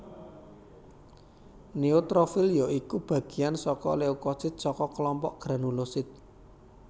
Neutrofil ya iku bagéyan saka leukosit saka klompok granulosit